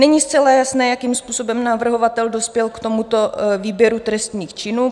Není zcela jasné, jakým způsobem navrhovatel dospěl k tomuto výběru trestných činů.